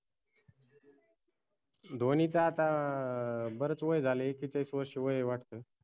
धोनीच आता अं बरच वय झालय एक्केचाळीस वर्ष वय ए वाटत